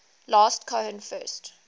last cohen first